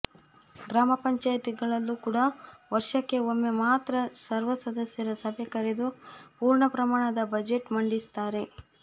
ಗ್ರಾಮ ಪಂಚಾಯಿತಿಗಳಲ್ಲೂ ಕೂಡ ವರ್ಷಕ್ಕೆ ಒಮ್ಮೆ ಮಾತ್ರ ಸರ್ವಸದಸ್ಯರ ಸಭೆ ಕರೆದು ಪೂರ್ಣ ಪ್ರಮಾಣದ ಬಜೆಟ್ ಮಂಡಿಸುತ್ತಾರೆ